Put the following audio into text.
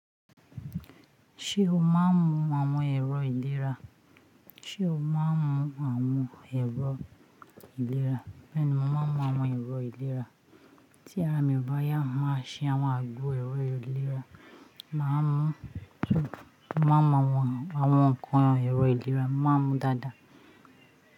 Ṣé o máa ń mu àwọn ẹ̀rọ ìlera? Ṣé o máa ń mu àwọn ẹ̀rọ ìlera? Bẹ́ẹ̀ni, mo máa ń mu àwọn ẹ̀rọ ìlera. Tí ara mi ò bá yá, màá ṣe àwọn àgbo ẹ̀rọ ìlera, màá mu. Mo máa ń mu àwọn nǹkan ẹ̀rọ ìlera, mo máa ń mu dada.